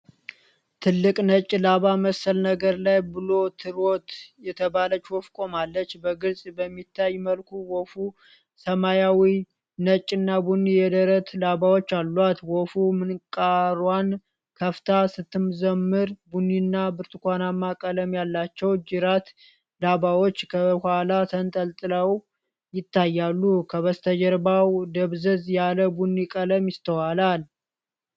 ትልቅ ነጭ ላባ መሰል ነገር ላይ ብሉ ትሮት የተባለች ወፍ ቆማለች፤ በግልጽ በሚታይ መልኩ ወፉ ሰማያዊ፣ ነጭና ቡኒ የደረት ላባዎች አሏት። ወፉ ምንቃሯን ከፍታ ስትዘምር፣ ቡኒና ብርቱካናማ ቀለም ያላቸው ጅራት ላባዎች ከኋላ ተንጠልጥለው ይታያሉ፤ ከበስተጀርባው ደብዘዝ ያለ ቡኒ ቀለም ይስተዋላል።